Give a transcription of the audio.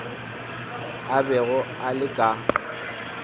a bego a le ka